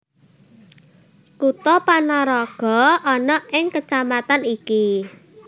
Kutha Panaraga ana ing kecamatan iki